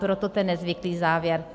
Proto ten nezvyklý závěr.